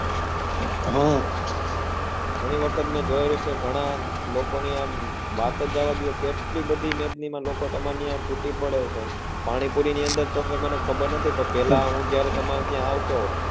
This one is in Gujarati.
હા ગણી વખત મેં જોયેલું છે ગણા લોકો ની આમ વાત જ જવાદો કેટલી બધી મેજની માં લોકો તમાર ત્યાં તૂટી પડે છે પાણીપુરી ની અંદર તો મને ખબર નથી પણ પેલા હુ જયારે તમાર ત્યાં આવતો